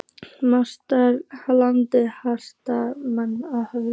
MATRÁÐSKONA: Landshöfðingi hittir alltaf naglann á höfuðið.